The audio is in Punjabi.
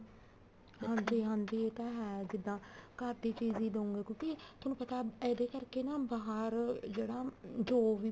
ਹਾਂਜੀ ਹਾਂਜੀ ਇਹ ਤਾਂ ਹੈ ਜਿੱਦਾਂ ਘਰ ਦੀ ਚੀਜ਼ ਹੀ ਦਉਂਗੇ ਕਿਉਂਕਿ ਤੁਹਾਨੂੰ ਪਤਾ ਨਾ ਇਹਦੇ ਕਰਕੇ ਬਾਹਰ ਜਿਹੜਾ ਜੋ ਵੀ